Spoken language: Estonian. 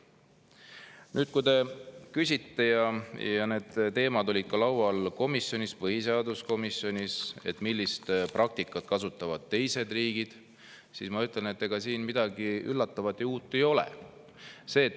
Nüüd, kui te küsite – need teemad olid laual ka komisjonis, põhiseaduskomisjonis –, millist praktikat kasutavad teised riigid, siis ma ütlen, et ega siin midagi üllatavat ja uut ei ole.